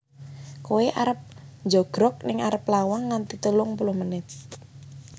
Koe arep njogrog ning arep lawang nganti telung puluh menit